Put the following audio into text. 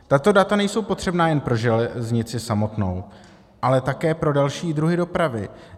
Tato data nejsou potřebná jen pro železnici samotnou, ale také pro další druhy dopravy.